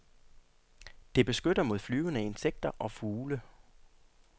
Det beskytter mod flyvende insekter og fugle.